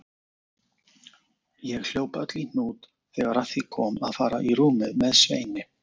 Ég hljóp öll í hnút þegar að því kom að fara í rúmið með Sveini.